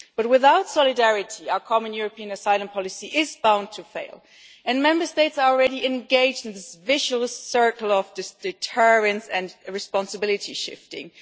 Without solidarity, our common European asylum policy is bound to fail, and Member States are already engaged in this vicious circle of deterrence and responsibility shifting.